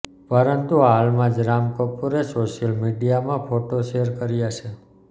પરંતુ હાલમાં જ રામ કપૂરે સોશિયલ મીડિયામાં ફોટો શેર કર્યા છે